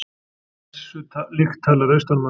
Þessu líkt talar austanmaður.